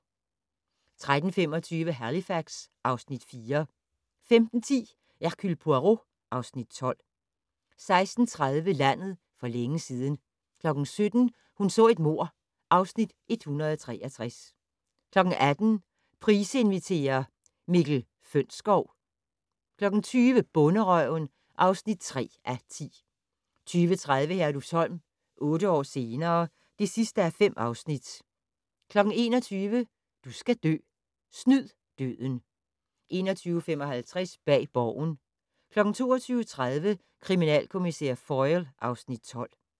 13:25: Halifax (Afs. 4) 15:10: Hercule Poirot (Afs. 12) 16:30: Landet for længe siden 17:00: Hun så et mord (Afs. 163) 18:00: Price inviterer - Mikkel Fønsskov 20:00: Bonderøven (3:10) 20:30: Herlufsholm - otte år senere ... (5:5) 21:00: Du skal dø: Snyd døden 21:55: Bag Borgen 22:30: Kriminalkommissær Foyle (Afs. 12)